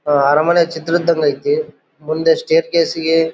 ಅರಮನೆ ಚಿತ್ರ ಇದಂಗೈತೆ ಮುಂದೆ ಸ್ಟೈರ್ ಛಾಯೆ ಗೆ --